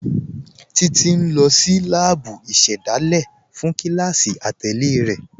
Títi n lọ sí láàbú ìṣẹ́dálẹ̀ fún kílásí àtẹlẹ̀ rẹ.